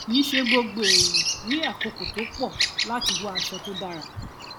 kì í ṣe gbogbo ènìyàn ní àkókò tó pọ láti wá aṣọ to dára